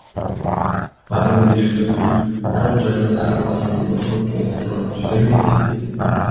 адамгершілік мұрат жайлы сырласуымызды толықтыра түсер ме екен